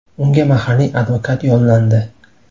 Unga mahalliy advokat yollandi.